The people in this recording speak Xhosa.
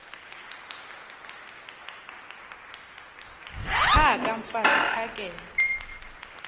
phaka mfaz uphakele